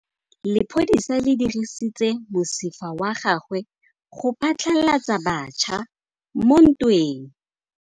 Lepodisa le dirisitse mosifa wa gagwe go phatlalatsa batšha mo ntweng.